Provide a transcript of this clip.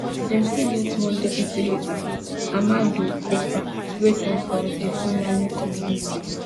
dem still get one deputy leader amadou koufa wey come from di fulani community